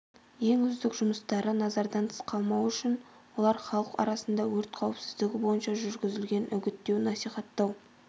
ең үздік жұмыстары назардан тыс қалмауы үшін олар халық арасында өрт қауіпсіздігі бойынша жүргізілетін үгіттеу-насихаттау